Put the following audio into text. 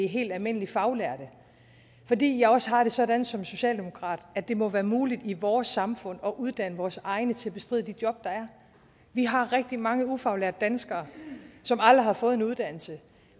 helt almindeligt faglærte fordi jeg også har det sådan som socialdemokrat at det må være muligt i vores samfund at uddanne vores egne til at bestride de job der er vi har rigtig mange ufaglærte danskere som aldrig har fået en uddannelse